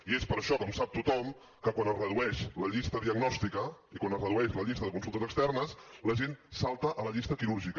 i és per això com sap tothom que quan es redueix la llista diagnòstica i quan es redueix la llista de consultes externes la gent salta a la llista quirúrgica